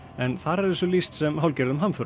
en þar er þessu lýst sem hálfgerðum hamförum